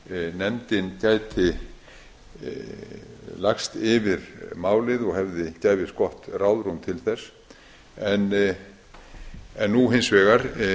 nefndin gæti lagst yfir málið og gæfist gott ráðrúm til þess nú hins vegar